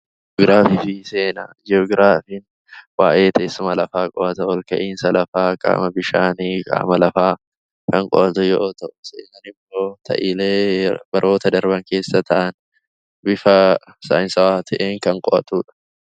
Ji'oogiraafii fi seenaa: Ji'oogiraafiin waa'ee teessuma lafa qo'ata. Ol ka'aiinsa lafaa, qaama bishaanii, qaama lafaa kan qo'atu yoo ta'u, seenaan immoo ta'iilee baroota darban keessa ta'an bifa saayinsaawaa ta'een kan qo'atudha.